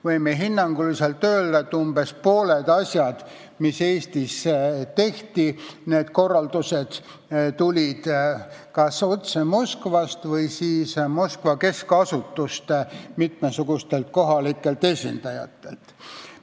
Võime hinnanguliselt öelda, et umbes pooled asjad, mis Eestis tehti – korraldused nendeks tulid kas otse Moskvast või siis Moskva keskasutuste mitmesugustelt kohalikelt esindajatelt.